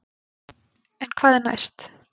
En hvað er næst?